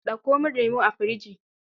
Ɗauko min lemo a firji.